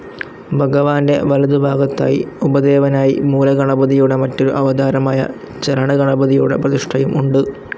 ഭഗവാൻ്റെ വലതുഭാഗത്തായി ഉപദേവനായി മൂലഗണപതിയുടെ മറ്റൊരു അവതാരമായ ചലനഗണപതിയുടെ പ്രതിഷ്ഠയും ഉണ്ട്.